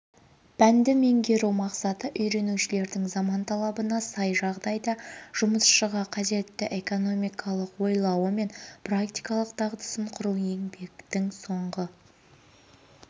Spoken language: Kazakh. пәнді меңгеру мақсаты үйренушілердің заман талабына сай жағдайда жұмысшыға қажетті экономикалық ойлауы мен практикалық дағдысын құру еңбектің соңғы